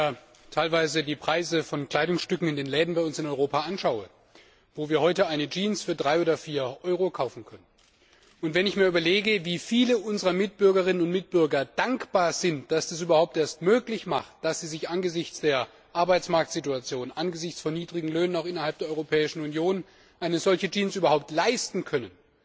Wenn ich mir teilweise die Preise von Kleidungsstücken in den Läden bei uns in Europa anschaue, wo wir heute eine Jeans für 3 oder 4 Euro kaufen können, und wenn ich mir überlege, wie viele unserer Mitbürgerinnen und Mitbürger dankbar sind, dass das überhaupt möglich ist, dass sie sich angesichts der Arbeitsmarktsituation, angesichts niedriger Löhne auch innerhalb der Europäischen Union eine solche Jeans überhaupt leisten können,